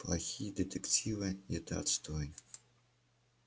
плохие детективы это отстой